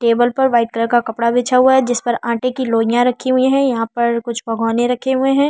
Table पर white colour का कपड़ा बिछा हुआ है जिस पर आटे की लोईया रखी हुई है यहाँ पर कुछ पकवाने रखे हुए है।